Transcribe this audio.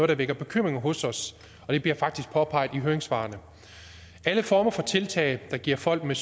der vækker bekymring hos os og det bliver påpeget i høringssvarene alle former for tiltag der giver folk med